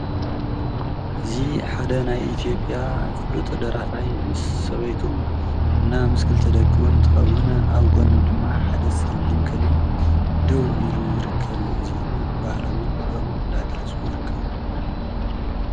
እዙ ሓደ ናይ ኢቲኦጴያ ፍሉጥ ደራፋይ ምስ ሰበይቱ እና ምስክል ተደቅዉን ትኸውን ፤ኣብ ጐኖ ድማ ሓደ ጸልም ከልይ ደው ኢሉ ይርከብ። እዚኦም ባሃለዉን ክበምን እንዳ ኣገለሱ ይርከቡ።